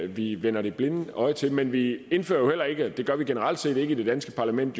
vi vender det blinde øje til men vi indfører heller ikke ting og det gør vi generelt set ikke i det danske parlament